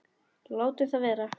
Látum það vera.